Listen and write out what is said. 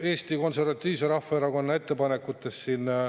Eesti Konservatiivse Rahvaerakonna ettepanekutest.